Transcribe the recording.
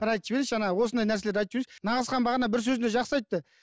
бір айтып жіберейінші ана осындай нәрселерді айтып жіберейінші нағызхан бағана бір сөзінде жақсы айтты